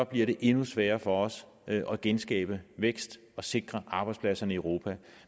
bliver det endnu sværere for os at at genskabe vækst og sikre arbejdspladserne i europa